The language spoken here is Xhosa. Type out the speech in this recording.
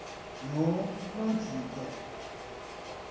nonojico